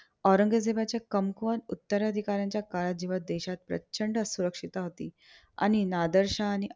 औरंगजेबाच्या कमकुवत उत्तराधिकाऱ्याच्या काळात जेव्हा देशात प्रचंड असुक्षता होती आणि नादर शहा